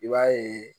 I b'a ye